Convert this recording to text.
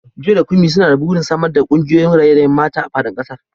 Joy da Kunmi suna da burin samar da kungiyoyin raye-rayen mata a fadin kasar.